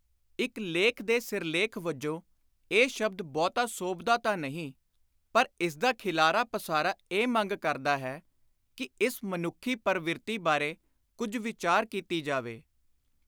ਇਕ ਲੇਖ ਦੇ ਸਿਰਲੇਖ ਵਜੋਂ ਇਹ ਸ਼ਬਦ ਬਹੁਤਾ ਸੋਭਦਾ ਤਾਂ ਨਹੀਂ ਪਰ ਇਸਦਾ ਖਿਲਾਰਾ ਪਸਾਰਾ ਇਹ ਮੰਗ ਕਰਦਾ ਹੈ ਕਿ ਇਸ ਮਨੁੱਖੀ ਪਰਵਿਰਤੀ ਬਾਰੇ ਕੁਝ ਵਿਚਾਰ ਕੀਤੀ ਜਾਵੇ।